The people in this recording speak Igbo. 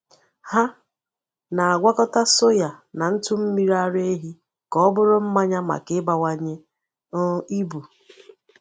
Ha na-agwakọta soya na ntụ mmiri ara ehi ka ọ bụrụ mmanya maka ịbawanye um ibu.